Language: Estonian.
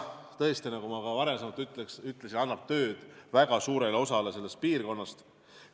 Tõesti, nagu ma ka varem ütlesin, annab see tööd väga suurele osale selle piirkonna inimestest.